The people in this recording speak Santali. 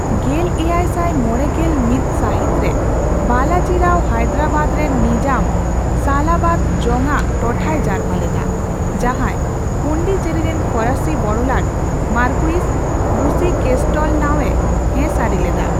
ᱜᱮᱞ ᱮᱭᱟᱭ ᱥᱟᱭ ᱢᱚᱲᱮᱜᱮᱞ ᱢᱤᱛ ᱥᱟᱹᱦᱤᱛ ᱨᱮ ᱵᱟᱞᱟᱡᱤ ᱨᱟᱣ ᱦᱟᱭᱫᱟᱨᱟᱵᱟᱫ ᱨᱮᱱ ᱱᱤᱡᱟᱢ ᱥᱟᱞᱟᱵᱟᱫ ᱡᱚᱝ ᱟᱜ ᱴᱚᱴᱷᱟᱭ ᱡᱟᱨᱯᱟ ᱞᱮᱫᱟ ᱾ ᱡᱟᱸᱦᱟᱭ ᱯᱚᱱᱰᱤᱪᱮᱨᱤ ᱨᱮᱱ ᱯᱷᱚᱨᱟᱥᱤ ᱵᱚᱲᱞᱟᱴ ᱢᱟᱨᱠᱩᱤᱥ ᱵᱩᱥᱤᱼᱠᱮᱥᱴᱮᱞᱱᱟᱣ ᱮ ᱦᱮᱸᱥᱟᱹᱨᱤ ᱞᱮᱫᱟ ᱾